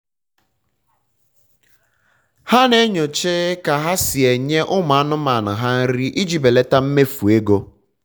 ha na-enyocha ka ha si enye ụmụ anụmanụ ha nri ijiri belata mmefu ego